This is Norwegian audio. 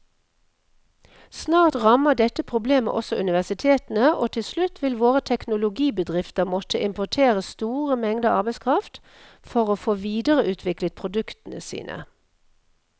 Snart rammer dette problemet også universitetene, og til slutt vil våre teknologibedrifter måtte importere store mengder arbeidskraft for å få videreutviklet produktene sine.